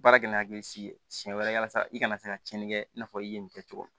Baara kɛ ni hakili sigi ye siɲɛ wɛrɛ walasa i ka na se ka tiɲɛni kɛ i n'a fɔ i ye nin kɛ cogo min